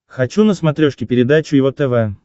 хочу на смотрешке передачу его тв